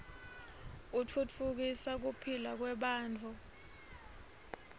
utfutfukisa kuphila kwebantfu